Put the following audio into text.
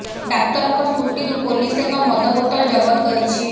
ଡାକ୍ତରଙ୍କ ସ୍କୁଟିରୁ ପୋଲିସ ଏକ ମଦ ବୋତଲ ଜବତ କରିଛି